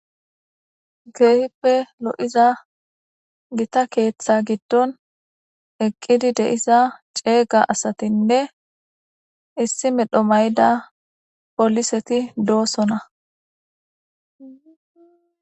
Kehippe lo'iza giita keththa giddon eqqidi deiiza ceega asatine issi medhdho mayida polliseti dossona.